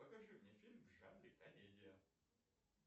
покажи мне фильм в жанре комедия